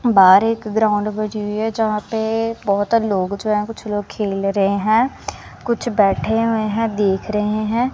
बाहर एक ग्राउंड बजी हुई है जहां पे बहोत लोग है जो खेल रहे हैं कुछ बैठे हुए हैं देख रहे हैं।